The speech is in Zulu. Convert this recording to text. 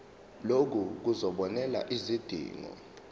lokhu kuzobonelela izidingo